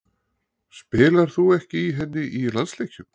Spilar þú ekki í henni í landsleikjum?